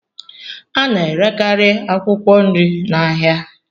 A na-erekarị akwụkwọ nri na ahịa